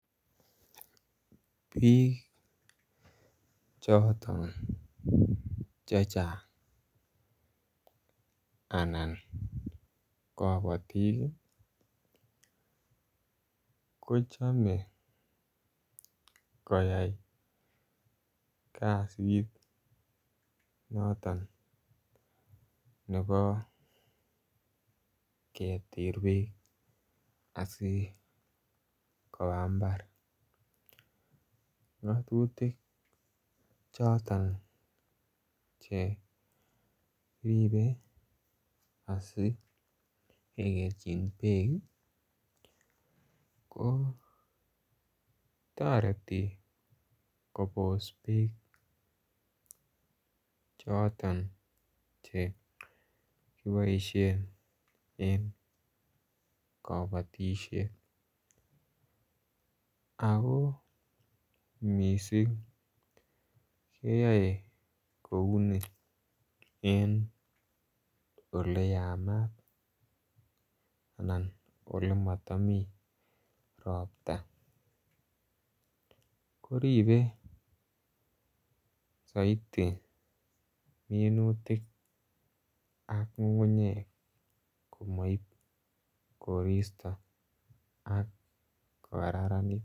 Bik choton che chang anan kabatik kochome koyai kasit noton nebo keter bek asi koba mbar ngatutik choton Che ribe asi kekerchin bek kotoreti kobos bek choton Che kiboisien en kabatisiet ako mising keyoe en Ole Yamat anan Ole matomii Ropta koribe soiti minutik ak ngungunyek komoib koristo ak ko kokararanit